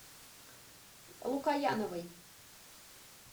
лукояновой